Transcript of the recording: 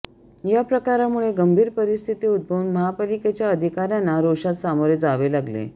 या प्रकारामुळे गंभीर परिस्थिती उद्भवून महापालिकेच्या अधिकार्यांना रोषास सामोरे जावे लागले